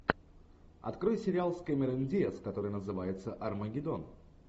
открой сериал с кэмерон диаз который называется армагедон